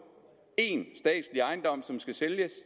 én statslig ejendom som skal sælges